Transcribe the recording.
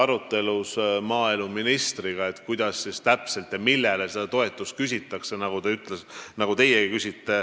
Küsisin temalt, nagu teiegi küsite, kuidas täpselt ja millele seda toetust küsida saab.